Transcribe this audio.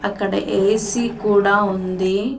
అక్కడ ఏ.సీ కూడా ఉంది --